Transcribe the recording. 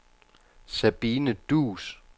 Sabine Duus